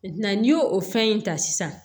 n'i y'o o fɛn in ta sisan